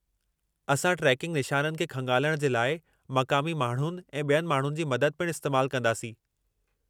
असां ट्रेकिंग निशाननि खे खंगालण जे लाइ मक़ामी माण्हुनि ऐं बि॒यनि माण्हुनि जी मदद पिणु इस्तैमालु कंदासीं।